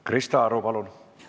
Krista Aru, palun!